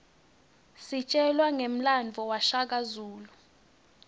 sitjelwa ngemlandvo washaka zulu